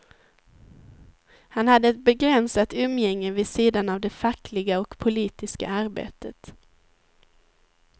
Han hade ett begränsat umgänge vid sidan av det fackliga och politiska arbetet.